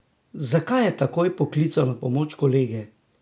Zakaj je takoj poklical na pomoč kolege?